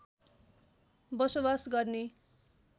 बसोवास गर्ने